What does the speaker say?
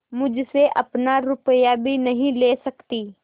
मुझसे अपना रुपया भी नहीं ले सकती